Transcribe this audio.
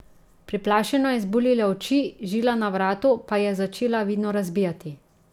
Preplašeno je izbuljila oči, žila na vratu pa ji je začela vidno razbijati.